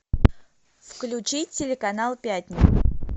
включи телеканал пятница